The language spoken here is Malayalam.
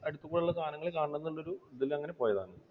അടുത്തൊക്കെയുള്ള സാധനങ്ങൾ കാണണം എന്നൊരു ഇതിൽ അങ്ങനെ പോയതാണ്.